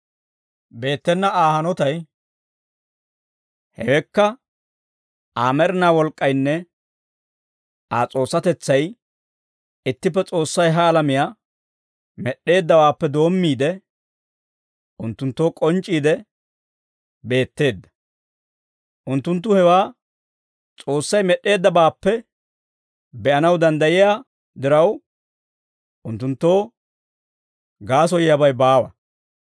Beettena Aa hanotay, hewekka Aa med'inaa wolk'k'aynne Aa S'oossatetsay ittippe S'oossay ha alamiyaa med'd'eeddawaappe doommiide, unttunttoo k'onc'c'iide beetteedda; unttunttu hewaa S'oossay med'd'eeddabaappe be'anaw danddayiyaa diraw, unttunttoo gaasoyiyaabay baawa.